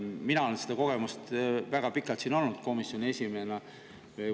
Minul see kogemus on, olen väga pikalt siin olnud komisjoni esimees.